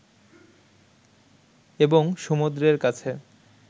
এবং সমুদ্রের কাছে